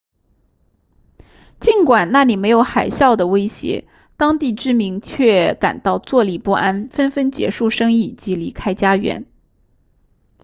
尽管那里没有海啸的威胁当地居民却感到坐立不安纷纷结束生意及离开家园